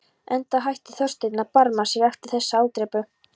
Enda hætti Þorsteinn að barma sér eftir þessa ádrepu.